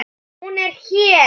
Hún er hér.